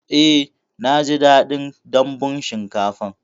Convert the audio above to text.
Eh naji daɗin dambun shinkafan